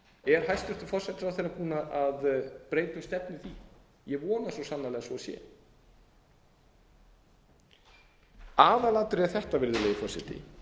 er hæstvirtur forsætisráðherra búinn að breyta um stefnu í því ég vona svo sannarlega að svo sé aðalatriðið er þetta virðulegi forseti